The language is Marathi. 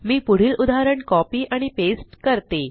मी पुढील उदाहरण कॉपी आणि पेस्ट करते